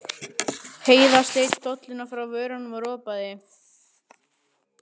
Heiða sleit dolluna frá vörunum og ropaði.